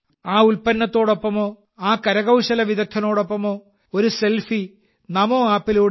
ആ ഉൽപ്പന്നത്തോടൊപ്പമോ ആ കരകൌശല വിദഗ്ധനോടൊപ്പമോ ഒരു സെൽഫി നമോ ആപ്പിലൂടെ